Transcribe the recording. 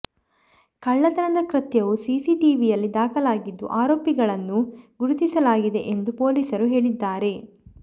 ಕಳ್ಳತನದ ಕೃತ್ಯವು ಸಿಸಿಟಿವಿ ಯಲ್ಲಿ ದಾಖಲಾಗಿದ್ದು ಆರೋಪಿಗಳನ್ನು ಗುರುತಿಸಲಾಗಿದೆ ಎಂದು ಪೊಲೀಸರು ಹೇಳಿದ್ದಾರೆ